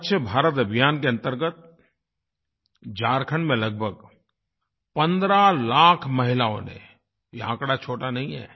स्वच्छ भारत अभियान के अंतर्गत झारखण्ड में लगभग 15 लाख महिलाओं ने यह आँकड़ा छोटा नहीं है